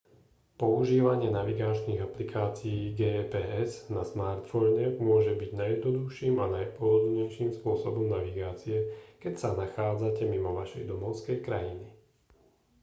používanie navigačných aplikácií gps na smartfóne môže byť najjednoduchším a najpohodlnejším spôsobom navigácie keď sa nachádzate mimo vašej domovskej krajiny